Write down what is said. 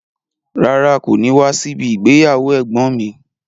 Rárá, kò ní wá síbi ìgbéyàwó ẹ̀gbọ́n ǹ mi.